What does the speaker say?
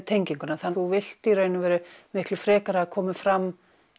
tenginguna þú vilt miklu frekar að það komi fram